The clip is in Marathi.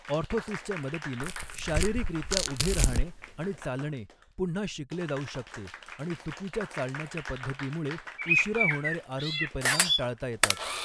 ऑर्थोसिसच्या मदतीने, शारीरिकरित्या उभे राहणे आणि चालणे पुन्हा शिकले जाऊ शकते आणि चुकीच्या चालण्याच्या पद्धतीमुळे उशीरा होणारे आरोग्य परिणाम टाळता येतात.